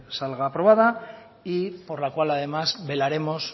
salga aprobada por la cual además velaremos